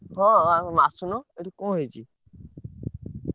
ହଁ ~ଆ ଅସୁନ ଏଠି କଣ ହେଇଚି?